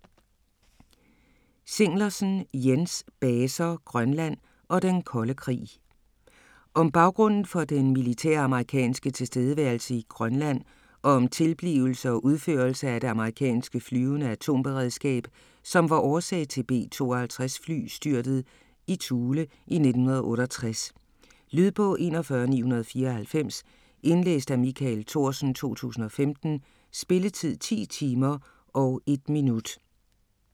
Zinglersen, Jens: Baser, Grønland og den kolde krig Om baggrunden for den militære amerikanske tilstedeværelse i Grønland og om tilblivelse og udførelse af det amerikanske flyvende atomberedskab, som var årsagen til B-52 fly styrtet i Thule i 1968. Lydbog 41994 Indlæst af Michael Thorsen, 2015. Spilletid: 10 timer, 1 minut.